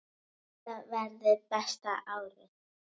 Þetta verður besta árið.